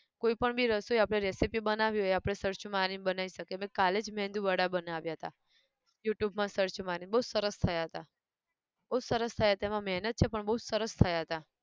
કોઈ પણ બી રસોઈ આપણે recipe બનાવવી હોય એ આપણે searh મારી ન બનાયી શકીએ, મેં કાલે જ મેંદુ વડા બનાવ્યા હતા, youtube માં search મારીન બઉ સરસ થયા હતા, બઉ સરસ થયા હતા એમાં મહેનત છે પણ બઉજ સરસ થયા હતા